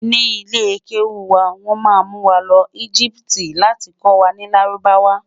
ní ilè kewu wà, wọn má mú wà ló egipti láti kò wà nì lárúbáwá